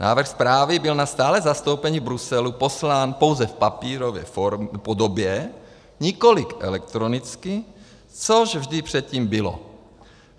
Návrh zprávy byl na stálé zastoupení v Bruselu poslán pouze v papírové podobě, nikoli elektronicky, což vždy předtím bylo.